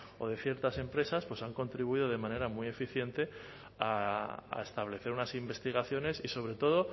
o de ciertas empresas han contribuido de manera muy eficiente a establecer unas investigaciones y sobre todo